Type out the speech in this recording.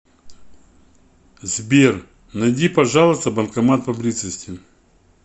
сбер найди пожалуйста банкомат поблизости